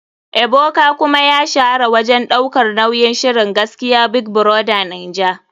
Ebuka kuma ya shahara wajen daukar nauyin shirin gaskiya big brother naija.